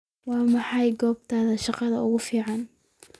Waa maxay goobtaada shaqada ugu fiican?